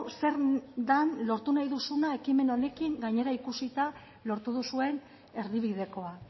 zen den lortu nahi duzuna ekimen honekin gainera ikusita lortu duzuen erdibidekoa